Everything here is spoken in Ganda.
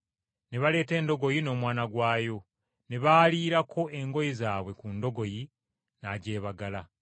Ne baleeta endogoyi n’omwana gwayo, ne baaliirako eminagiro gyabwe ku ndogoyi, n’agyebagala.